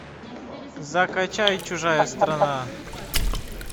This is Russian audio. закачай чужая страна